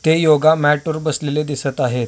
ते योगा मॅटवर बसलेले दिसत आहेत.